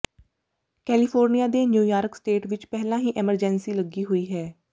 California ਤੇ New York state ਵਿੱਚ ਪਹਿਲਾਂ ਹੀ ਐਮਰਜੈਂਸੀ ਲੱਗੀ ਹੋਈ ਹੈ